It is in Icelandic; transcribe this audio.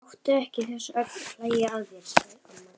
Láttu ekki þessa ögn hlæja að þér, sagði amma.